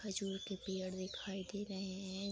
खजूर के पेड़ दिखाई दे रहे हैं।